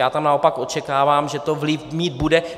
Já tam naopak očekávám, že to vliv mít bude.